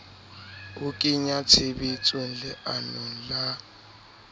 ho kenya tshebetsong leano la